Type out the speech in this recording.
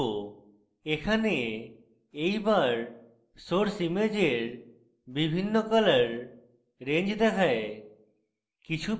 এখানে এই bar source ইমেজের বিভিন্ন colour range দেখায়